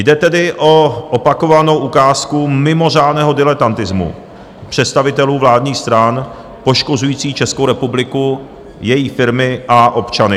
Jde tedy o opakovanou ukázku mimořádného diletantismu představitelů vládních stran, poškozujících Českou republiku, její firmy a občany.